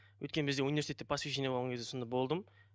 өйткені бізде университетте посвещение болған кезде сонда болдым